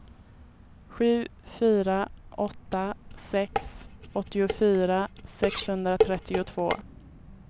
sju fyra åtta sex åttiofyra sexhundratrettiotvå